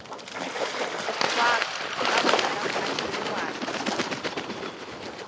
hwa ka lebaka la mmadibekwane